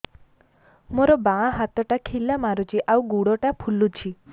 ମୋ ବାଆଁ ହାତଟା ଖିଲା ମାରୁଚି ଆଉ ଗୁଡ଼ ଟା ଫୁଲୁଚି